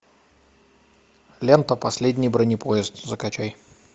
лента последний бронепоезд закачай